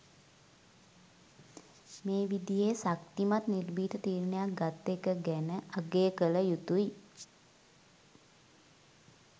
මේ විදියේ ශක්තිමත් නිර්භීත තීරණයක් ගත්ත එක ගැන අගය කල යුතුයි.